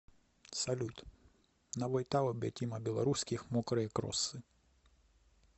салют на ютуб тима белорусских мокрые кроссы